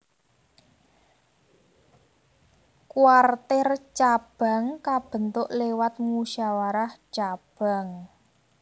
Kwartir cabang kabentuk lewat musyawarah cabang